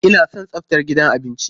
Ina son tsaftar gidan abinci.